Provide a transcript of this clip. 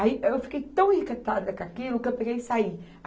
Aí eu fiquei tão encantada com aquilo que eu peguei e saí.